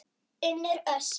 Unnur Ösp.